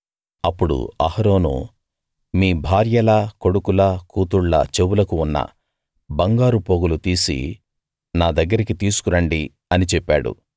అప్పుడు అహరోను మీ భార్యల కొడుకుల కూతుళ్ళ చెవులకు ఉన్న బంగారు పోగులు తీసి నా దగ్గరికి తీసుకు రండి అని చెప్పాడు